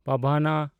ᱯᱟᱣᱱᱟ